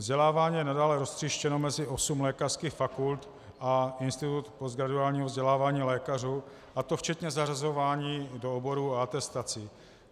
Vzdělávání je nadále roztříštěno mezi osm lékařských fakult a Institut postgraduálního vzdělávání lékařů, a to včetně zařazování do oborů a atestací.